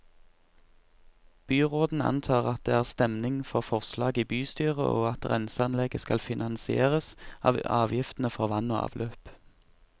Byråden antar at det er stemning for forslaget i bystyret, og at renseanlegget skal finansieres av avgiftene for vann og avløp.